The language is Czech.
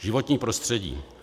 Životní prostředí.